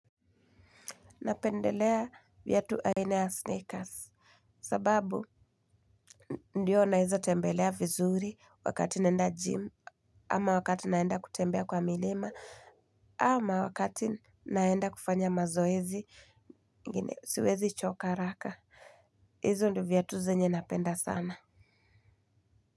Napendelea viatu aina ya sneakers. Sababu ndiyo naeza tembelea vizuri wakati nenda gym. Ama wakati naenda kutembea kwa milima. Ama wakati naenda kufanya mazoezi. Siwezi choka haraka. Hizo ndio viatu zenye napenda sana.